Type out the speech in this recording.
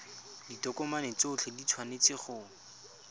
ditokomane tsotlhe di tshwanetse go